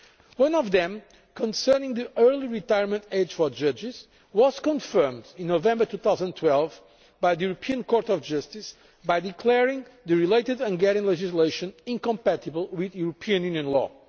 One of them, concerning the early retirement age for judges, was confirmed in November 2012 by the European Court of Justice declaring the related Hungarian legislation incompatible with European Union law.